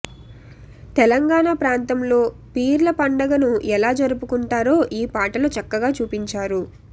తెలంగాణా ప్రాంతంలో పీర్ల పండగను ఎలా జరుపుకుంటారో ఈ పాటలో చక్కగా చూపించారు